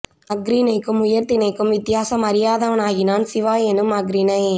அஃறிணைக்கும் உயர் திணைக்கும் வித்தியாசம் அறியாதவனாகினான் சிவா எனும் அஃறிணை